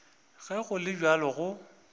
ge go le bjalo go